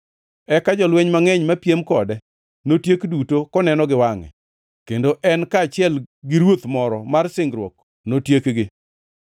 Eka jolweny mangʼeny mapiem kode notiek duto koneno gi wangʼe, kendo en kaachiel gi ruoth moro mar singruok notiekgi.